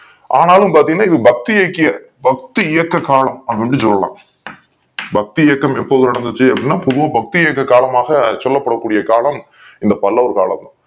ஆனாலும் பாத்திங்கன பக்தியிக்கிய பக்தி இயக்க காலம் அப்டினும் சொல்லலாம் பக்தி இயக்கம் எப்போது நடந்துச்சு அப்டின பொதுவா பக்தி இயக்க காலமாக சொல்ல கூடிய காலம் இந்த பல்லவர் காலம்